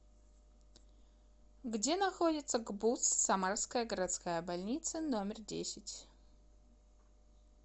где находится гбуз самарская городская больница номер десять